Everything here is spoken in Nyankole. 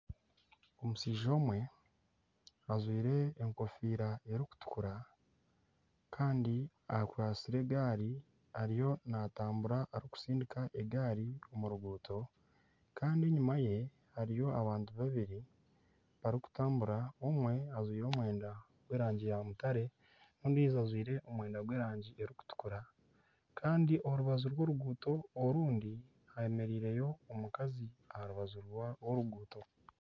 Omushaija omwe ajwire enkofiira erikutukura kandi akwatsire egaari ariyo natambura ari kutsindika egaari omu ruguuto kandi enyima ye hariyo abantu babiri bari kutambura. Omwe ajwire omwenda gw'erangi ya mutare, ondijo ajwire omwenda gw'erangi erikutukura kandi orubaju rw'oruguuto orundi hemereire yo omukazi aharubaju rw'oruguuto.